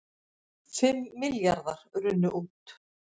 Fimm milljarðar runnu út